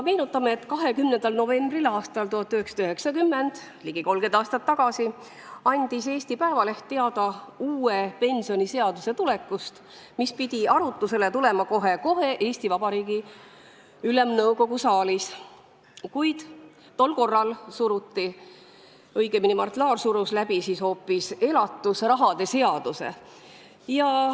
Meenutame, et 20. novembril aastal 1990 – ligi 30 aastat tagasi – andis Eesti Päevaleht teada uue pensioniseaduse tulekust, mis pidi Eesti Vabariigi Ülemnõukogu saalis kohe-kohe arutlusele tulema, kuid tol korral suruti, õigemini, Mart Laar surus läbi hoopis elatusrahade seaduse.